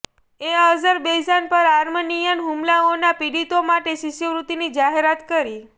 એ Azerbaijan પર Armenian હુમલાઓના પીડિતો માટે શિષ્યવૃત્તિની જાહેરાત કરી